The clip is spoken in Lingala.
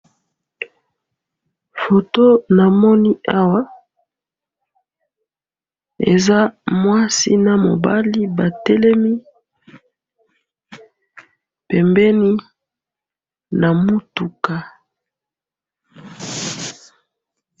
photo namoni awa eza mwasi na mobali batelemi pembeni na mutuka